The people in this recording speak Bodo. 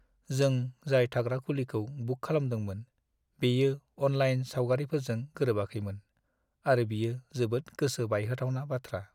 जों जाय थाग्रा खुलिखौ बुक खालामदोंमोन, बियो अनलाइन सावगारिफोरजों गोरोबाखैमोन, आरो बियो जोबोद गोसो बायहोथावना बाथ्रा।